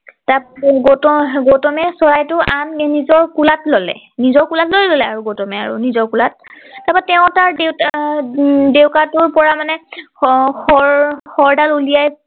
তা গৌতম গৌতমে চৰাইটো আনি নিজৰ কোলাত ললে নিজৰ কোলাতেই ললে আৰু গৌতমে আৰু নিজৰ কোলাত তাৰ পৰা তেওঁ তাৰ আহ ডেউকা টোৰ পৰা মানে শৰ শৰ ডাল উলিয়াই